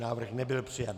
Návrh nebyl přijat.